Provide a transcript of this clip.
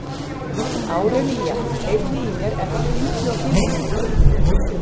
Árelía, heyrðu í mér eftir fimmtíu og fimm mínútur.